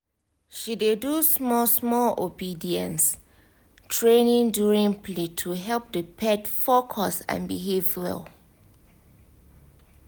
she dey do small small obedience training during play to help the pet focus and behave well